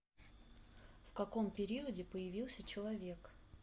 в каком периоде появился человек